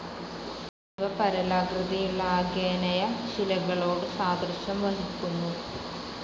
ഇവ പരലാകൃതിയുള്ള ആഗ്നേയശിലകളോട് സാദൃശ്യം വഹിക്കുന്നു.